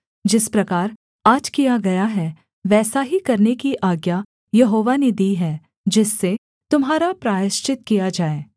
जिस प्रकार आज किया गया है वैसा ही करने की आज्ञा यहोवा ने दी है जिससे तुम्हारा प्रायश्चित किया जाए